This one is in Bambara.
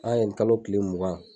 An y'a ye nin kalo kile mugan.